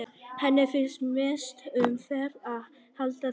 Henni finnst mest um vert að halda friðinn.